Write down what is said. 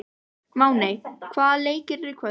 Máney, hvaða leikir eru í kvöld?